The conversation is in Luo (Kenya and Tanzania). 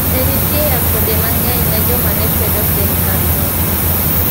Ne nitie akwede mang'eny ne joma ne kwedo sirkandno.